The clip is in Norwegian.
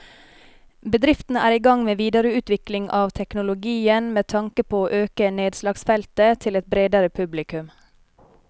Bedriften er i gang med videreutvikling av teknologien med tanke på å øke nedslagsfeltet til et bredere publikum.